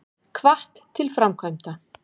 Hvatt til framkvæmda